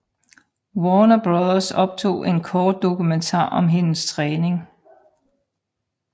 Warner Bros optog en kort dokumentar om hendes træning